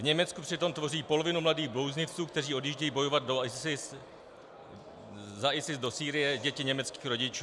V Německu přitom tvoří polovinu mladých blouznivců, kteří odjíždějí bojovat za ISIZ do Sýrie, děti německých rodičů.